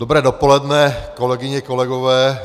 Dobré dopoledne, kolegyně, kolegové.